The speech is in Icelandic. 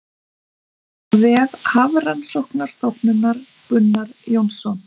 Af vef Hafrannsóknastofnunar Gunnar Jónsson.